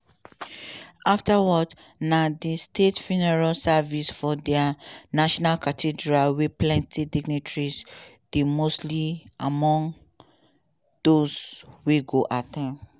afta words na di state funeral service for di national cathedral wia plenti dignitaries dey mostly among dose wey go at ten d.